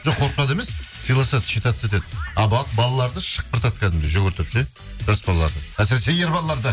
жоқ емес сыйласады считаться етеді балаларды шыпқыртатды кәдімгідей жүгіртіп ше жас балаларды әсіресе ер балаларды